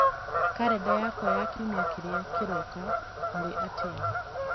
karenda yakwa ya kiumia kĩrĩa kĩroka ũrĩ atia